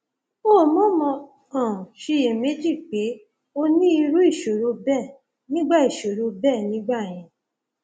o mọọmọ um ṣiyèméjì pé o ní irú ìṣòro bẹẹ nígbà ìṣòro bẹẹ nígbà yẹn